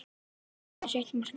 Það er aðeins eitt markið